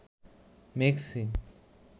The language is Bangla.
মেক্সি